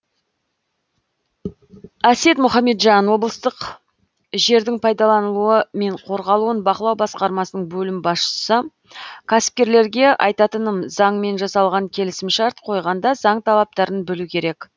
әсет мұхамеджан облыстық жердің пайдаланылуы мен қорғалуын бақылау басқармасының бөлім басшысы кәсіпкерлерге айтатыным заңмен жасалған келісімшарт қойғанда заң талаптарын білу керек